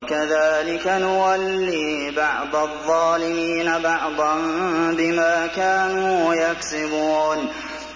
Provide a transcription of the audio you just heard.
وَكَذَٰلِكَ نُوَلِّي بَعْضَ الظَّالِمِينَ بَعْضًا بِمَا كَانُوا يَكْسِبُونَ